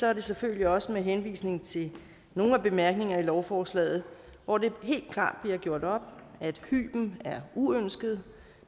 er det selvfølgelig også med henvisning til nogle af bemærkningerne i lovforslaget hvor det helt klart bliver gjort op at hyben er uønsket